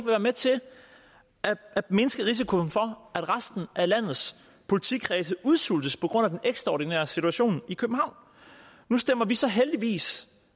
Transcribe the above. være med til at mindske risikoen for at resten af landets politikredse udsultes på grund af den ekstraordinære situation i københavn nu stemmer vi så heldigvis